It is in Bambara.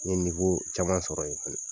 N ye caman sɔrɔ yen fɛnɛ.